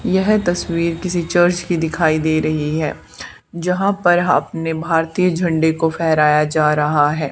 यह तस्वीर किसी चर्च की दिखाई दे रही है जहां पर अपने भारतीय झंडे को फेहराया जा रहा है।